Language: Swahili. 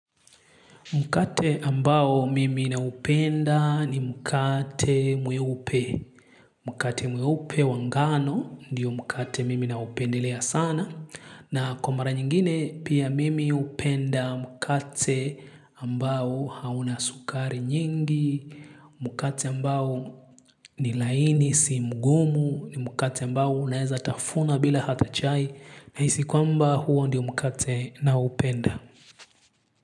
Mkate ambao mimi naupenda ni mkate mweupe. Mkate mweupe wa ngano ndiyo mkate mimi naupendelea sana. Na kwa mara nyingine pia mimi hupenda mkate ambao hauna sukari nyingi. Mkate ambao ni laini si mgumu ni mkate ambao unaeza tafuna bila hata chai. Nahisi kwamba huo ndiyo mkate ninaoupenda.